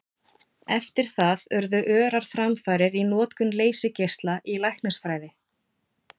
Eftir það urðu örar framfarir í notkun leysigeisla í læknisfræði.